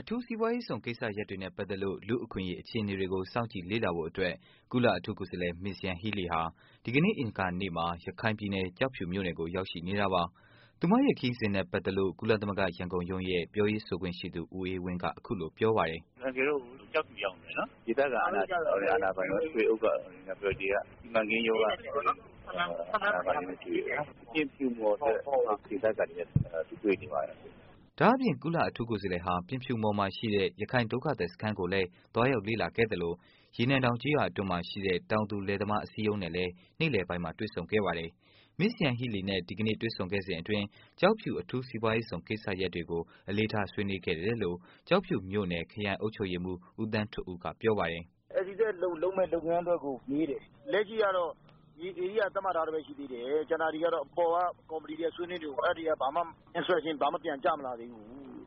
အထူးစီးပွားရေးဇုန် ကိစ္စရပ်တွေနဲ့ ပတ်သက်လို့ လူ့အခွင့်အရေး အခြေအနေတွေကို စောင့်ကြည့်လေ့လာဖို့အတွက် ကုလအထူးကိုယ်စားလှယ် Ms.Yanghee Lee ဟာ ဒီကနေ့ အင်္ဂါနေ့မှာ ရခိုင်ပြည်နယ် ကျောက်ဖြူမြို့နယ်ကို ရောက်ရှိနေတာပါ။ သူမရဲ့ ခရီးစဉ်နဲ့ ပတ်သက်လို့ ကုလသမဂ္ဂ ရန်ကုန်ရုံးရဲ့ ပြောရေးဆိုခွင့်ရှိသူ ဦးအေးဝင်းက အခုလို ပြောပါတယ်။ “အန်ကယ်တို့ အခုကျောက်ဖြူုရောက်နေတယ်နော်။ ဒေသခံ အာဏာပိုင်တွေ၊ ထွေအုပ်က နောက်ပြီးတော့ ဒီက စီမံကိန်းရုံးက အာဏာပိုင်တွေနဲ့ တွေ့တယ်။ ပြင်ဖြူမော်ဆိုတဲ့ ဒေသခံတွေနဲ့ အခုတွေ့နေပါတယ်။” ဒါ့အပြင် ကုလအထူးကိုယ်စားလှယ်ဟာ ပြင်ဖြူမော်မြို့နယ်မှာ ရှိတဲ့ ရခိုင်ဒုက္ခသည်စခန်းကိုလည်း သွားရောက်လေ့လာခဲ့သလို ရေနံတောင် ကျေးရွာအတွင်းမှာ ရှိတဲ့ တောင်သူလယ်သမား အစည်းအရုံးနဲ့လည်း နေ့လည်ပိုင်းမှာ တွေ့ဆုံခဲ့ပါတယ်။ Ms.Yanghee Lee နဲ့ ဒီကနေ့ တွေ့ဆုံခဲ့စဉ်အတွင်း ကျောက်ဖြူ အထူးစီးပွားရေးဇုန် ကိစ္စရပ်တွေကို အလေးထား ဆွေးနွေးခဲ့တယ်လို့ ကျောက်ဖြူမြို့နယ် ခရိုင်အုပ်ချုပ်ရေးမှုး ဦးသန်းထွဋ်ဦးကပြောပါတယ်။ လုပ်မယ့် လုပ်ငန်းအတွက်ကို မေးတယ်။ လက်ရှိကတော့ မြေဧရိယာ သတ်မှတ်ထားဆဲပဲ ရှိသေးတယ်။ ကျန်တာတွေကတော့ အပေါ်က ကော်မတီတွေက ဆွေးနွေးနေတုန်း အဲဒါတွေက ဘာမှ instruction ဘာမှ ပြန်ကျမလာသေးဘူး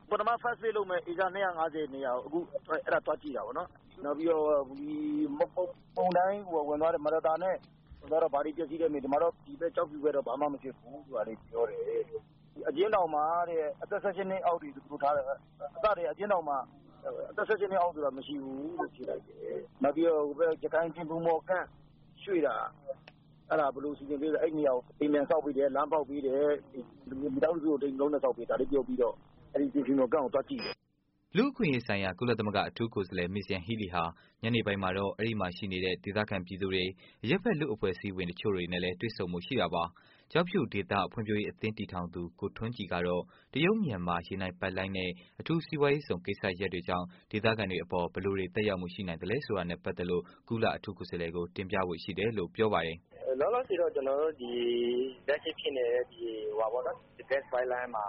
။ ပထမ first space လုပ်မယ့် ဧက ၂၅၀ နေရာကို အခုအဲဒါသွားကြည့်တာပေ့ါနော်။ နောက်ပြီးတော့ မုန်တိုင်း မာရသာ ဝင်သွားတော့ ဘာတွေ ပျက်စီးတုန်းမေးတယ်။ ဒီမှာတော့ ဒီဖက်ကျောက်ဖြူုဖက်တော့ ဘာမှ မပျက်စီးဘူး ပြောတယ်။ ဒီအကျဉ်းထောင်မှာတဲ့ အသက် ၁၈ နှစ်အောက်တွေ ဘယ်လိုထားလဲ အစကတည်းက အကျဉ်းထောင်မှာ အသက် ၁၈ နှစ်အောက်တွေ မရဘူးလို့ ဖြေလိုက်တယ်။ နောက်ပြီးတော့ ဟိုဖက် ရခိုင်ပြင်ဖြူမော် camp ရွှေ့တာ အဲဒါ ဘယ်လိုစီစဉ်ပေးလဲ၊ အဲဒီ့နေရာကို အိြမ်ပန်ဆောက်ပေးတယ်။ လမ်း ဖောက်ပေးတယ်။ မိသားစု တစ်စုကို တစ်အိမ်တစ်လုံး ဆောက်ပေးတယ်။ ဒါလေးပြောပြီးတော့ အဲဒီ့ ပြင်ဖြူမော် camp ကို သွားကြည့်တယ်။” လူ့အခွင့်အရေးဆိုင်ရာ ကုလသမဂ္ဂ အထူးကိုယ်စားလှယ် Ms.Yanghee Lee ဟာ ညနေပိုင်းမှာတော့ အဲဒီ့မှာ ရှိနေတဲ့ ဒေသခံ ပြည်သူတွေ၊ အရပ်ဖက် လူ့အဖွဲ့အစည်းတွေ တစ်ချို့နဲ့လည်း တွေ့ဆုံဖို့ ရှိတာပါ။ ကျောက်ဖြူုဒေသ ဖွံဖြိုးရေး အသင်းတည်ထောင်သူ ကိုထွန်းကြည် ကတော့ တရုတ်မြန်မာ ရေနံပိုက်လမ်းနဲ့ အထူးစီးပွားရေးဇုန် ကိစ္စရပ်တွေကြောင့် ဒေသခံတွေအပေါ် ဘယ်လိုတွေ သက်ရောက်မှု ရှိနိုင်သလဲဆိုတာ နဲ့ပတ်သက်လို့ ကုလအထူးကိုယ်စားလှယ်ကို တင်ပြသွားဖို့ ရှိတယ်လို့ ပြောပါတယ်။ “လောလောဆယ်တော့ ကျွန်တော်တို့ လက်ရှိ ဂတ်စ်ပိုင်းလိုင်းမှာ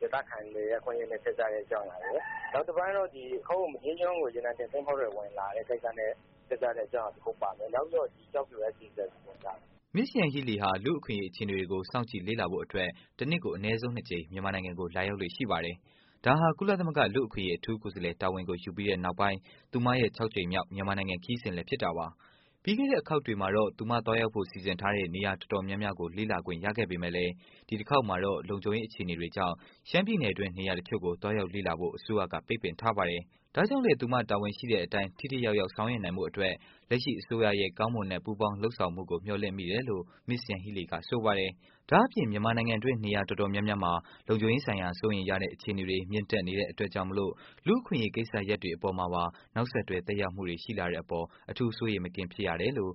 ဒေသခံတွေရဲ့ အခွင့်အရေးနဲ့ ဆက်စပ်တဲ့ အကြောင်းအရာရယ်၊ နောက်တစ်ပိုင်းကတော့ မဒေးကျွန်းကို ရေနံတင်သင်္ဘောတွေ ဝင်လာတယ် ကိစ္စနဲ့ ပတ်သက်တဲ့အကြောင်းအရာတစ်ခုပါမယ်။ နောက်ပြီးတော့ ကျောက်ဖြူ SEZ ပေါ့။” Ms.Yanghee Lee ဟာ လူ့အခွင့်အရေး အခြေအနေတွေကို စောင့်ကြည့်လေ့လာ ဖို့အတွက် တစ်နှစ်ကို အနည်းဆုံး ၂ ကြိမ် မြန်မာနိုင်ငံကို လာရောက်လေ့ရှိပါတယ်။ ဒါဟာ ကုလသမဂ္ဂ လူ့အခွင့်အရေး အထူးကိုယ်စားလှယ် တာဝန်ကို ယူပြီးနောက်ပိုင်း သူမရဲ့ ၆ ကြိမ်မြောက် မြန်မာနိုင်ငံ ခရီးစဉ်လည်း ဖြစ်ပါတယ်။ ပြီးခဲ့တဲ့ အခေါက်တွေမှာတော့ သူမသွားရောက်ဖို့ စီစဉ်ထားတဲ့ နေရာတော်တော်များများကို လေ့လာခွင့်ရခဲ့ပေမယ့်လို့ ဒီတစ်ခေါက်မှာတော့ လုံခြုံရေးအခြေအနေတွေကြောင့် ရှမ်းပြည်နယ်တွင်း နေရာတစ်ချို့ကို သွားရောက်လေ့လာဖို့ အစိုးရက ပိတ်ပင်ထားပါတယ်။ ဒါကြောင့်လည်း သူမတာဝန်ရှိတဲ့အတိုင်း ထိထိရောက်ရောက် ဆောင်ရွက်နိုင်ဖို့ လက်ရှိအစိုးရရဲ့ ကောင်းမွန်တဲ့ ပူးပေါင်းလုပ်ဆောင်မှုကို မျှော်လင့်မိတယ်လို့ Ms.Yanghee Lee က ဆိုပါတယ်။ ဒါ့အပြင် မြန်မာနိုင်ငံတွင်း နေရာတော်တေ်ာများများမှာ လုံခြုံရေးဆိုင်ရာ စိုးရိမ်ရတဲ့ အခြေအနေတွေ မြင့်တက်နေတဲ့အတွက်ကြောင့်မလို့ လူ့အခွင့်အရေး ကိစ္စရပ်တွေအပေါ်မှာပါ သက်ရောက်မှူ ရှိလာနိုင်တဲ့အပေါ်သူမအနေနဲ့ အထူးစိုးရိမ်မကင်းဖြစ်ရတယ်လို့